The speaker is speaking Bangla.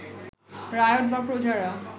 রায়ত বা প্রজারা